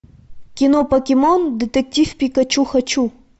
кино покемон детектив пикачу хочу